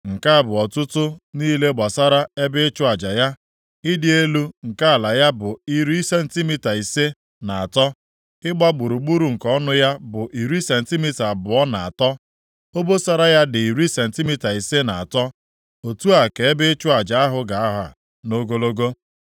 “Nke a bụ ọtụtụ niile gbasara ebe ịchụ aja ya: Ịdị elu nke ala ya bụ iri sentimita ise na atọ; ịgba gburugburu nke ọnụ ya bụ iri sentimita abụọ na atọ; obosara ya dị iri sentimita ise na atọ. Otu a ka ebe ịchụ aja ahụ ga-aha nʼogologo.